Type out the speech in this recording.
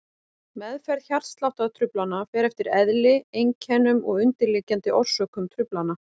Meðferð hjartsláttartruflana fer eftir eðli, einkennum og undirliggjandi orsökum truflana.